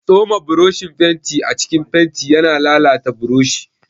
Tsoma boroshin fenti a cikin fenti yana lalata boroshi.